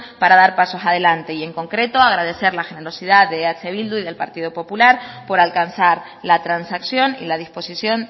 para dar pasos adelante y en concreto agradecer la generosidad de eh bildu y del partido popular por alcanzar la transacción y la disposición